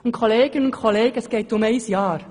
Zudem geht es nur um ein Jahr.